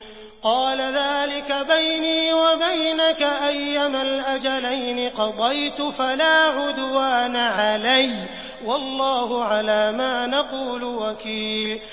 قَالَ ذَٰلِكَ بَيْنِي وَبَيْنَكَ ۖ أَيَّمَا الْأَجَلَيْنِ قَضَيْتُ فَلَا عُدْوَانَ عَلَيَّ ۖ وَاللَّهُ عَلَىٰ مَا نَقُولُ وَكِيلٌ